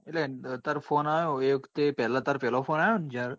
એટલે તારો phone આયો એ વખતે પેલા તારો પેલા phone આવ્યો ને જયારે?